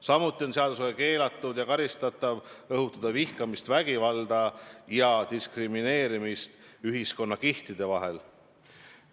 Samuti on seadusega keelatud ja karistatav õhutada vihkamist, vägivalda ja diskrimineerimist ühiskonnakihtide vahel.